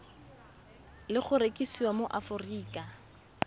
le go rekisiwa mo aforika